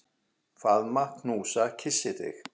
Faðma, knúsa, kyssi þig.